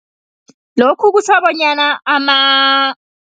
Lokho kutjho bonyana